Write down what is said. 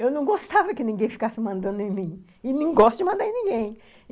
Eu não gostava que ninguém ficasse mandando em mim e não gosto de mandar em ninguém.